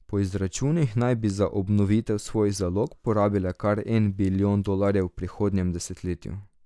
Po izračunih naj bi za obnovitev svojih zalog porabile kar en bilijon dolarjev v prihodnjem desetletju.